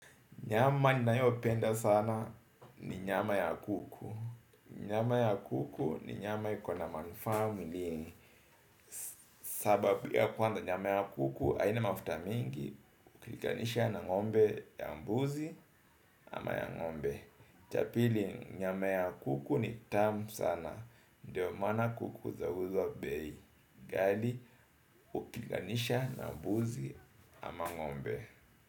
Nyama ni ninayopenda sana ni nyama ya kuku. Nyama ya kuku ni nyama ikona manufaa mwilini. Sababu ya kwanza nyama ya kuku haina mafuta mengi ukilinganisha na ng'ombe ya mbuzi ama ya ng'ombe. Cha pili nyama ya kuku ni tamu sana. Ndiyo maana kuku zauzwa bei ghali ukilikanisha na mbuzi ama ngombe.